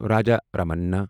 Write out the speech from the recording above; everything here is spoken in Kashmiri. راجا رامننا